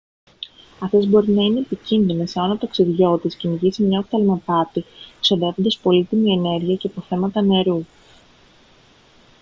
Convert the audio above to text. αυτές μπορεί να είναι επικίνδυνες εάν ο ταξιδιώτης κυνηγήσει μια οφθαλμαπάτη ξοδεύοντας πολύτιμη ενέργεια και αποθέματα νερού